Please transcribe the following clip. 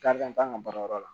Karikan t'an ka baarayɔrɔ la